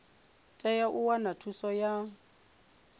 tea u wana thuso ya